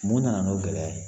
Mun nana n'o gɛlɛya ye